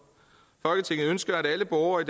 hvor